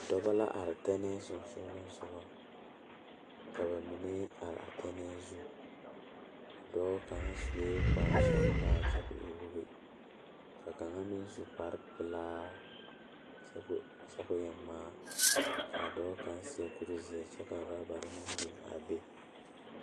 Dɔba la are tɛnɛɛ sensoglesoga ka ba mine are a tɛnɛɛ zu dɔɔ kaŋ sue kparesɔglaa kyɛ ka o e wogi ka kaŋa meŋ su kparepelaa kyɛ ka o kyɛ kao e ŋmaa k,a dɔɔ kaŋ seɛ kurizeɛ kyɛ ka orɔbare meŋ biŋ a be.